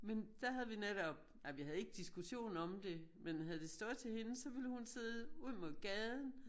Men da havde vi netop nej vi havde ikke diskution om det men havde det stået til hende så ville hun sidde ud mod gaden